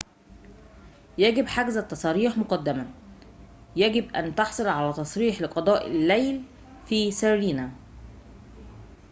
يجب حجز التصاريح مقدماً يجب أن تحصل على تصريح لقضاء الليل في سيرينا